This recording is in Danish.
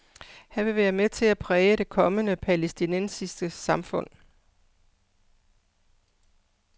Han vil være med til at præge det kommende palæstinensiske samfund.